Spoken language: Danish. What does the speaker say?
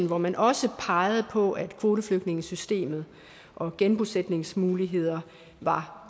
hvor man også pegede på at kvoteflygtningesystemet og genbosætningsmuligheder var